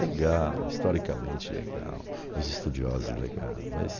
Legal, historicamente legal, os estudiosos legal, mas...